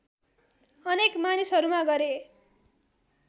अनेक मानिसहरूमा गरे